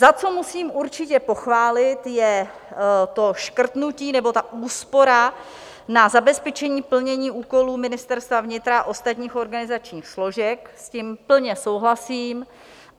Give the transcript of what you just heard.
Za co musím určitě pochválit, je to škrtnutí, nebo ta úspora na zabezpečení plnění úkolů Ministerstva vnitra a ostatních organizačních složek, s tím plně souhlasím.